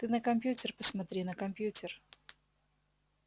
ты на компьютер посмотри на компьютер